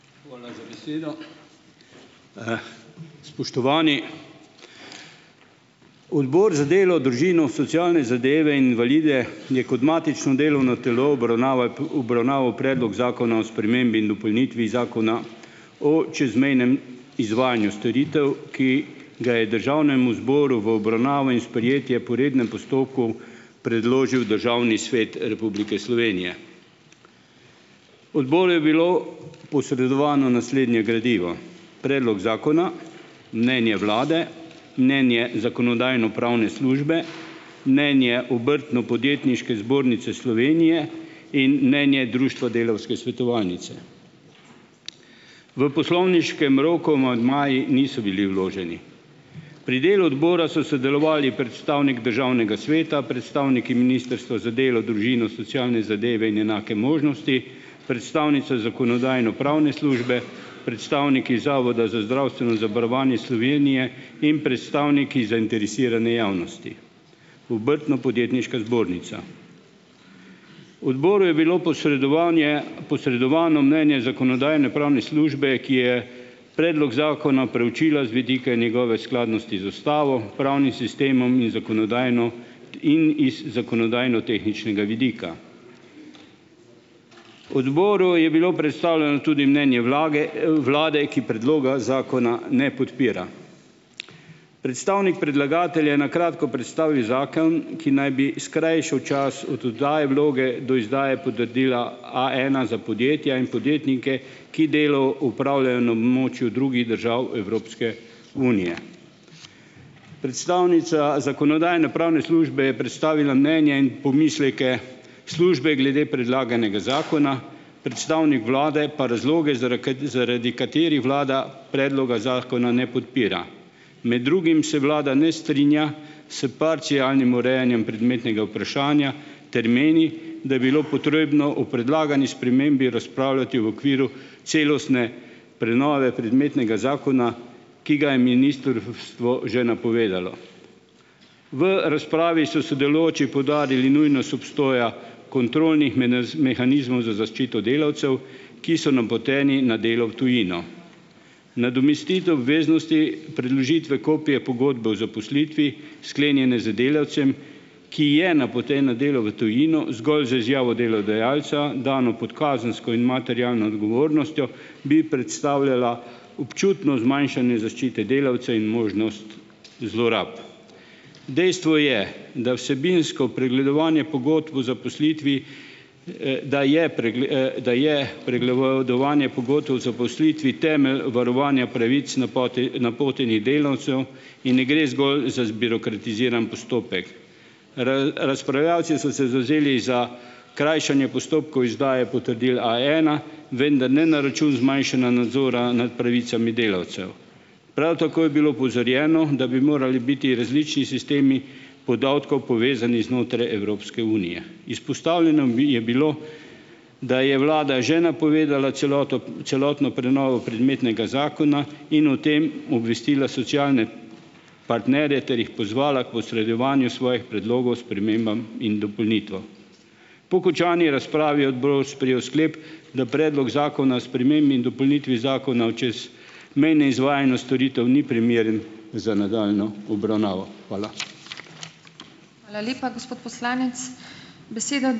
Hvala za besedo. Spoštovani! Odbor za delo, družino, socialne zadeve in invalide je kot matično delovno telo obravnavaj obravnaval Predlog zakona o spremembi in dopolnitvi Zakona o čezmejnem izvajanju storitev, ki ga je državnemu zboru v obravnavo in sprejetje po rednem postopku predložil Državni svet Republike Slovenije. Odboru je bilo posredovano naslednje gradivo: predlog zakona, mnenje vlade, mnenje Zakonodajno-pravne službe, mnenje Obrtno-podjetniške zbornice Slovenije in mnenje društva Delavske svetovalnice. V poslovniškem roku amandmaji niso bili vloženi. Pri delu odbora so sodelovali predstavnik Državnega sveta, predstavniki Ministrstva za delo, družino, socialne zadeve in enake možnosti, predstavnica Zakonodajno-pravne službe, predstavniki Zavoda za zdravstveno zavarovanje Slovenije in predstavniki zainteresirane javnosti, Obrtno-podjetniška zbornica. Odboru je bilo posredovanje posredovano mnenje Zakonodajno-pravne službe, ki je predlog zakona preučila z vidika njegove skladnosti z ustavo, pravnim sistemom in zakonodajno in iz zakonodajnotehničnega vidika. Odboru je bilo predstavljeno tudi mnenje vlage, vlade, ki predloga zakona ne podpira. Predstavnik predlagatelja je kratko predstavil zakon, ki naj bi skrajšal čas oddaje vloge do izdaje potrdila A ena za podjetja in podjetnike, ki delo opravljajo na območju drugih držav Evropske unije. Predstavnica Zakonodajno-pravne službe je predstavila mnenje in pomisleke službe glede predlaganega zakona, predstavnik vlade pa razloge, zaraka zaradi katerih vlada predloga zakona ne podpira. Med drugim se vlada ne strinja s parcialnim urejanjem predmetnega vprašanja ter meni, da bilo treba o predlagani spremembi razpravljati v okviru celostne prenove predmetnega zakona, ki ga je ministrstvo že napovedalo. V razpravi so sodelujoči poudarili nujnost obstoja kontrolnih mehanizmov za zaščito delavcev, ki so napoteni na delo v tujino. Nadomestitev obveznosti predložitve kopije pogodbe o zaposlitvi, sklenjene z delavcem, ki je napoten na delo v tujino, zgolj z izjavo delodajalca, dano pod kazensko in materialno odgovornostjo, bi predstavljala občutno zmanjšanje zaščite delavca in možnost zlorab. Dejstvo je, da vsebinsko pregledovanje pogodb o zaposlitvi, da je da je pregledovanje pogodb o zaposlitvi temelj varovanja pravic napotenih delavcev in ne gre zgolj za zbirokratiziran postopek. razpravljavci so se zavzeli za krajšanje postopkov izdaje potrdil A ena, vendar ne na račun zmanjšanja nadzora nad pravicami delavcev. Prav tako je bilo opozorjeno, da bi morali biti različni sistemi podatkov povezani znotraj Evropske unije. Izpostavljeno bi je bilo, da je vlada že napovedala celoto celotno prenovo predmetnega zakona in o tem obvestila socialne partnerje ter jih pozvala k posredovanju svojih predlogov spremembam in dopolnitvam. Po končani razpravi je odbor sprejel sklep, da predlog Zakona spremembi in dopolnitvi Zakona o čezmejnem izvajanju storitev ni primeren za nadaljnjo obravnavo. Hvala.